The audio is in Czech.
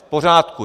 V pořádku.